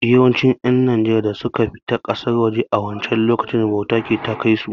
Yawancin ƴan najeriyan da suka fita ƙasar waje a wancen lokacin, bauta ce ta kai su